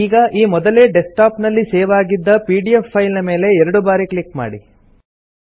ಈಗ ಈ ಮೊದಲೇ ಡೆಸ್ಕ್ ಟಾಪ್ ನಲ್ಲಿ ಸೇವ್ ಆಗಿದ್ದ ಪಿಡಿಎಫ್ ಫೈಲ್ ನ ಮೇಲೆ ಎರಡು ಬಾರಿ ಕ್ಲಿಕ್ ಮಾಡಿ